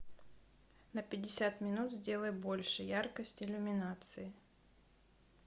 на пятьдесят минут сделай больше яркость иллюминации